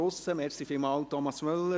Vielen Dank an Thomas Müller.